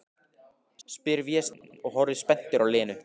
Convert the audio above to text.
spyr Vésteinn og horfir spenntur á Lenu.